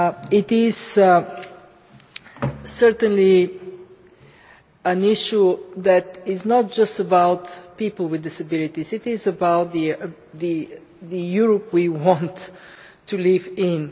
This is certainly an issue that is not just about people with disabilities but about the Europe we want to live in.